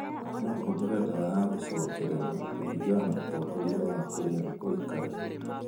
No ũhũthĩre ndawa ya gũcokerera kũringana na ũtongoria wa kũrĩa ũikaraga.